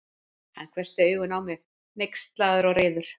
Hann hvessti augun á mig, hneykslaður og reiður.